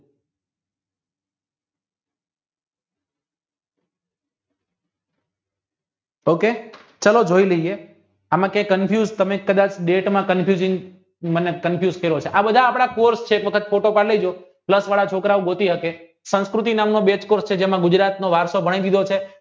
ok ચાલો જોય લઇએ એમાં કે confuse તમે કદાચ date માં confuse મને confuse કરો છો આ બધા આપણા કોર્ષ છે તો તમારા છોકરાવ ગોતી શકે સંસ્કૃતિ નામનો બે જ કોર્સ છે જેમાં ગુજરાતનો વર્ષો ભણી ગયા છીએ